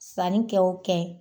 Sanni kɛ o kɛ